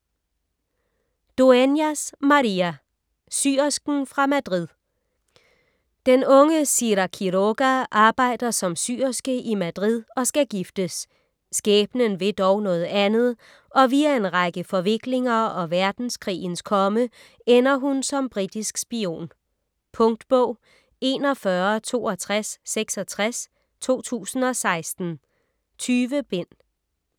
Dueñas, María: Syersken fra Madrid Den unge Sira Quiroga arbejder som syerske i Madrid og skal giftes. Skæbnen vil dog noget andet, og via en række forviklinger og verdenskrigens komme ender hun som britisk spion. Punktbog 416266 2016. 20 bind.